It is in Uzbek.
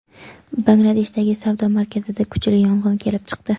Bangladeshdagi savdo markazida kuchli yong‘in kelib chiqdi.